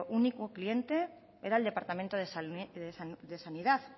único cliente era el departamento de sanidad